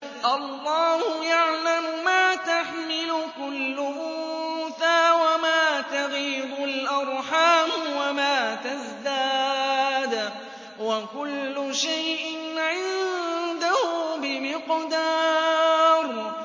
اللَّهُ يَعْلَمُ مَا تَحْمِلُ كُلُّ أُنثَىٰ وَمَا تَغِيضُ الْأَرْحَامُ وَمَا تَزْدَادُ ۖ وَكُلُّ شَيْءٍ عِندَهُ بِمِقْدَارٍ